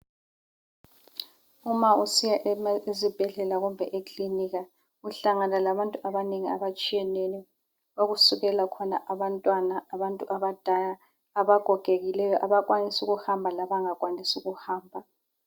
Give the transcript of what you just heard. Uma usiya ema ezibhedlela kumbe eklinika uhlangana labantu abanengi abatshiyeneyo. Okusukela khona abantwana, abantu abadala, abagogekileyo, abakwanisa ukuhamba labangakwanisi ukuhamba.